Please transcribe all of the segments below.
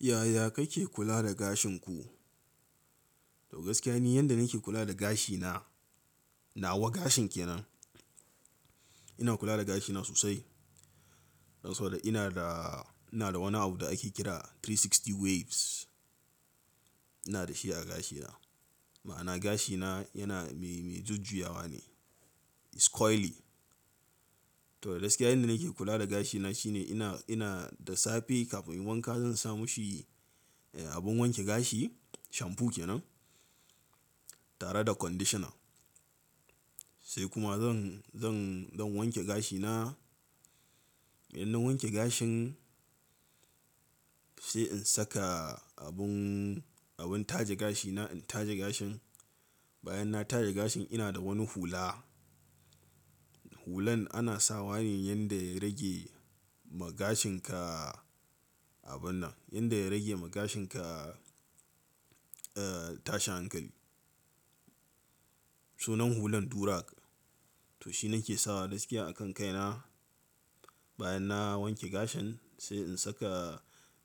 Yaya kake kula da gashin ku? To gaskiya ne yanda nake kula da gashina, nawa gashin kenan. Ina kula da gashina sosai, saboda ina da, ina da wani abu da ake kira 360 waves. Ina da shi a gashina, ma'ana gashina yana mai, mai jujjuyawa ne, is curly. To da gaskiya yanda nake kula da gashina shine ina, ina da safe kafin in wanka zan sa mu shi abin wanke gashi, shampoo kenan tare da conditioner. Sai kuma zan, zan, zan wanke gashina. In na wanke gashin sai in saka abun, abun taje gashi na in taje gashin. Bayan na taje gashin ina da wani hula. Hulan ana sawa ne yanda ya rage ma gashinka abun nan, yanda ya rage ma gashinka eh tashi hankali. Sunan hulan durag. To shi nake sawa gaskiya a kan kaina. Bayan na wanke gashin sai in saka,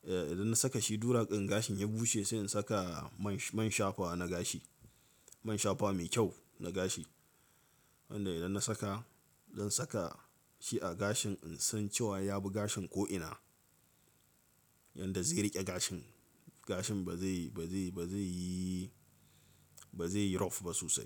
idan na saka shi durag in gashin ya bushe sai in saka man, man shafa na gashi. Man shafa mai kyau na gashi. Wanda idan na saka, zan saka shi a gashin in san cewa ya bi gashin ko'ina. Yanda zai riƙe gashin, gashin ba zai, ba zai, ba zai yi, ba zai yi rough ba sosai.